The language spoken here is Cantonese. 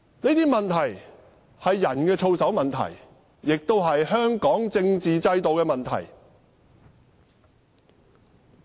這些問題是人的操守問題，亦是香港政治制度的問題。